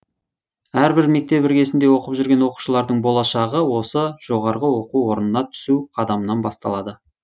әрбір мектеп іргесінде оқып жүрген оқушылардың болашағы осы жоо на түсу қадамынан басталады